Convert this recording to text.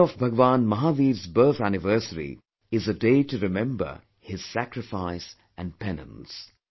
The day of Bhagwan Mahavir's birth anniversary is a day to remember his sacrifice and penance